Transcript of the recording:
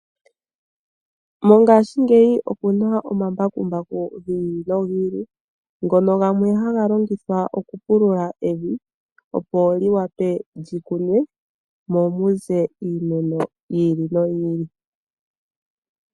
Mongashingeyi omuna omambakumbaku gi ili nogi ili, ngono gamwe haga longithwa okupulula evi opo li wape lyi kunwe, mo ku ze iimeno yi ili noyi ili.